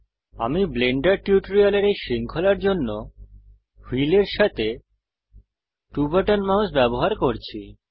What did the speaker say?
আমি ব্লেন্ডার টিউটোরিয়ালের এই শৃঙ্খলার জন্য হুইলের সাথে 2 বাটন মাউস ব্যবহার করছি